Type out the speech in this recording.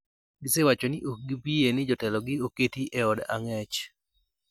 gisewacho ni ok gibiyie ni jatelogi oketi e od ang'ech